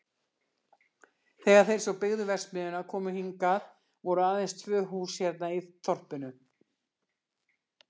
Þegar þeir sem byggðu verksmiðjuna komu hingað voru aðeins tvö hús hérna í þorpinu.